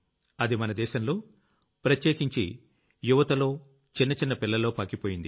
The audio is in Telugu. అది మన దేశంలో ప్రత్యేకించి యువతలో చిన్న చిన్న పిల్లల్లో పాకిపోయింది